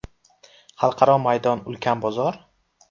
Xalqaro maydon ulkan bozor?